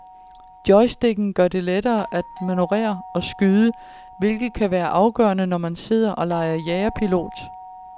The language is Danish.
Joysticken gør det lettere at manøvrere og skyde, hvilket kan være afgørende, når man sidder og leger jagerpilot.